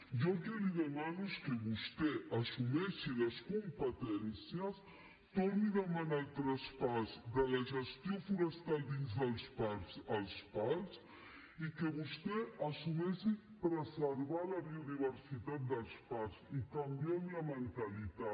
jo el que li demano és que vostè assumeixi les competències torni a demanar el traspàs de la gestió forestal dins dels parcs als parcs i que vostè assumeixi preservar la biodiversitat dels parcs i canviem la mentalitat